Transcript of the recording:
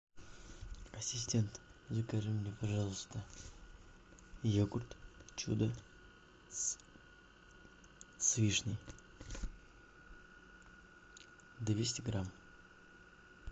ассистент закажи мне пожалуйста йогурт чудо с вишней двести грамм